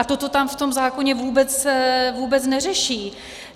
A toto tam v tom zákoně vůbec neřeší.